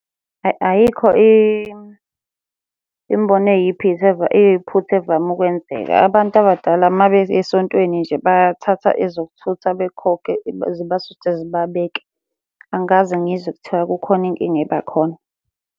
Ayikho imibono eyiphutha evame ukwenzeka. Abantu abadala uma beya esontweni nje bathatha ezokuthutha bekhokhe zibathuthe zibabeke. Angikaze ngizwe kuthiwa kukhona inkinga eba khona.